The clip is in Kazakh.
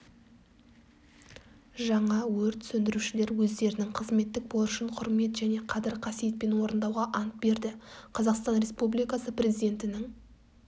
жаңа өрт сөндірушілер өздерінің қызметтік борышын құрмет және қадір-қасиетпен орындауға ант берді қазақстан республикасы президентінің